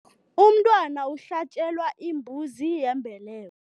Umntwana uhlatjelwa imbuzi yembeleko.